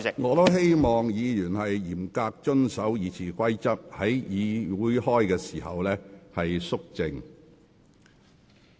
我也希望議員嚴格遵守《議事規則》，在會議過程中保持肅靜。